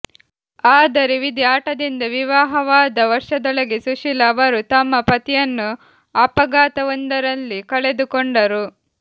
ಆದರೆ ವಿಧಿ ಆಟದಿಂದ ವಿವಾಹವಾದ ವರ್ಷದೊಳಗೆ ಸುಶೀಲ ಅವರು ತಮ್ಮ ಪತಿಯನ್ನು ಅಪಘಾತವೊಂದರಲ್ಲಿ ಕಳೆದು ಕೊಂಡರು